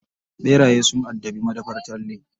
Ɓeraye sun addabi madafar Talle.